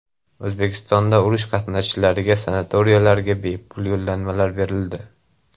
O‘zbekistonda urush qatnashchilariga sanatoriylarga bepul yo‘llanmalar berildi.